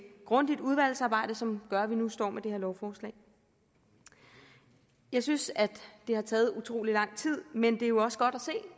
grundigt udvalgsarbejde som gør at vi nu står med det her lovforslag jeg synes at det har taget utrolig lang tid men det er jo også godt